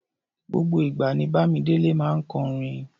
Gbogbo ìgbà ní Bámidélé máa ń kọrin.